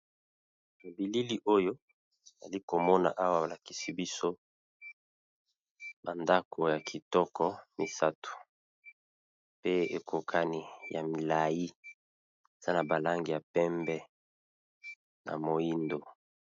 Na bilili oyo, na zali komona awa, balakisi biso bandako ya kitoko misato, pe ekokani ya milai. Eza na balangi ya pembe na moindo.